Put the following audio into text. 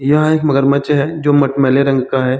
यह एक मगरमच्छ है जो मटमेले रंग का है।